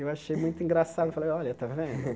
Eu achei muito engraçado, falei, olha, tá vendo?